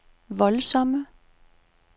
voldsomme